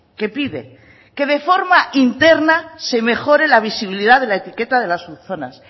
que pide que de forma interna se mejore la visibilidad de la etiqueta de las zonas